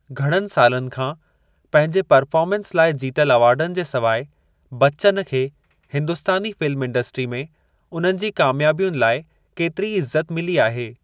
घणनि सालनि खां पंहिंजे परफॉर्मेंस लाइ जीतल अवार्डनि जे सवाइ, बच्चन खे हिंदुस्तानी फ़िल्म इंडस्ट्री में उन्हनि जी कामियाबयुनि लाइ केतरी ई इज़त मिली आहे।